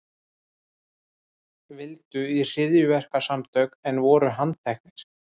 Vildu í hryðjuverkasamtök en voru handteknir